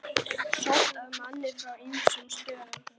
Sótt að manni frá ýmsum stöðum.